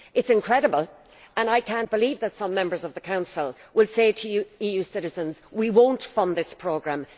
It is incredible, and I cannot believe that some Members of the Council will say to EU citizens, We won't fund this programme.